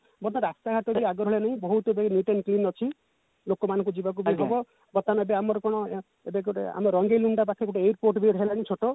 but ରାସ୍ତା ଘାଟ ଆଗ ଭଳିଆ ନାହିଁ ବହୁତ ଏବେ neat and clean ଅଛି ଲୋକମାନଙ୍କୁ ଯିବାକୁ ବି ହବ ବର୍ତମାନ ଏବେ ମାର କଣ ଏବେ ଗୋଟେ ଆମ ରଙ୍ଗେଇଲୁଣ୍ଡା ପାଖରେ ଗୋଟେ airport ବି ହେଲାଣି ଛୋଟ